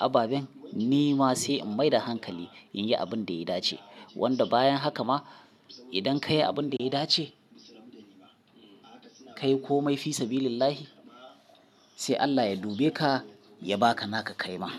ababen ni ma sai in maida hankali in yi abin da ya dace. Wanda bayan haka ma idan ka yi abin da ya dace, ka yi komai fisabilillahi, sai Allah ya dube ka ya ba ka naka kai ma.